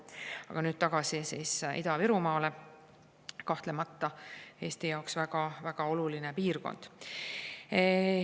Aga nüüd tagasi Ida-Virumaa juurde, mis Eesti jaoks on kahtlemata väga oluline piirkond.